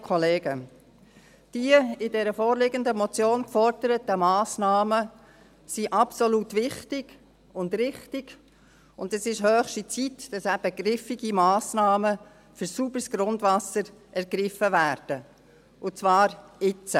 Die in der vorliegenden Motion geforderten Massnahmen sind absolut wichtig und richtig, und es ist höchste Zeit, dass eben griffige Massnahmen für sauberes Grundwasser ergriffen werden, und zwar jetzt.